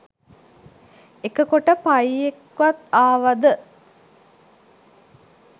එක කොට පයියෙක්වත් ආවද